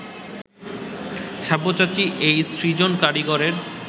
সব্যসাচী এই সৃজন কারিগরের